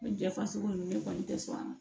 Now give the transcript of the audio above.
Jɛfasugu ninnu ne kɔni tɛ sɔn a ma